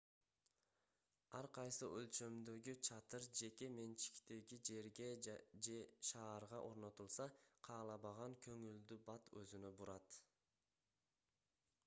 ар кайсы өлчөмдөгү чатыр жеке менчиктеги жерге же шаарга орнотулса каалабаган көңүлдү бат өзүнө бурат